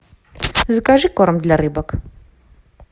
закажи корм для рыбок